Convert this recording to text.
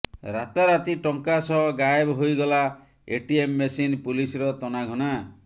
ରାତାରାତି ଟଙ୍କା ସହ ଗାଏବ ହୋଇଗଲା ଏଟିଏମ ମେସିନ୍ ପୁଲିସର ତନାଘନା